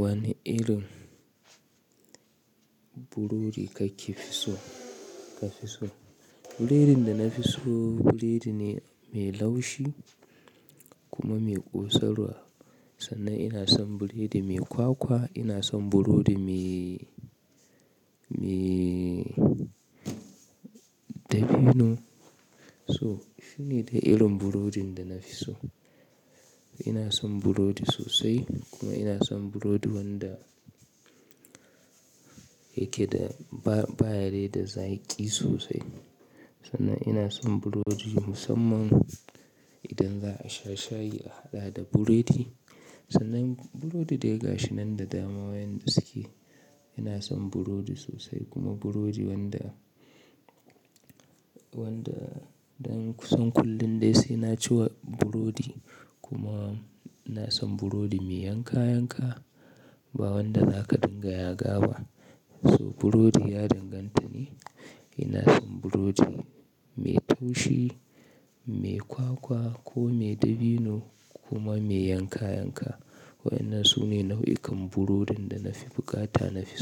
Wane irin burodi kake fi so kafi so? Buredin da na fi so, buredi ne mai laushi. Kuma mai ƙosarwa. Sannan ina son buredi mai kwakwa, ina son burodi mai, mai dabino. So, shi ne dai irin burodin da nafi so. Ina son burodi sosai kuma ina son burodi wanda yake da ba yada zaqi sosai. Sannan ina son burodi musamman idan za a sha shayi a haɗa da buredi. Sannan burodi dai gashi nan da dama yanda suke. Ina son burodi sosai kuma burodi wanda, wanda dan kusan kullum dai sai na ci burodi kuma ina son burodi mai yanka-yanka, ba wanda zaka dinga yaga ba. So burodi ya danganta ne. Ina son burodi mai taushi, mai kwakwa ko mai dabino kuma mai yanka yanka. Ina son burodi sosai kuma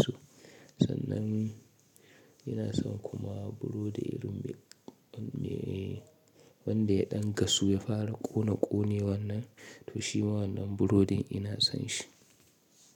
burodi wanda, wanda zan san kullum dai sai na ci burodi kuma Sannan ina son kuma burodi irin me wanda ya ɗan gasu ya fara ƙona ƙone wannan toshi ma wannan burodin ina son shi.